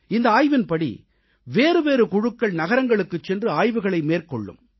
இந்த ஆய்வின்படி வேறுவேறு குழுக்கள் நகரங்களுக்குச் சென்று ஆய்வுகளை மேற்கொள்ளும்